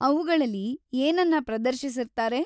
ಅವ್ಗಳಲ್ಲಿ ಏನನ್ನ ಪ್ರದರ್ಶಿಸಿರ್ತಾರೆ?